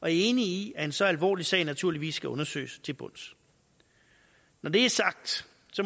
er enig i at en så alvorlig sag naturligvis skal undersøges til bunds når det er sagt